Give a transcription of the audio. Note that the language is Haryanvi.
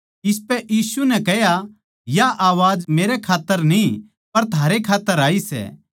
इसपै यीशु नै कह्या यो वचन मेरै खात्तर कोनी पर थारै खात्तर आया सै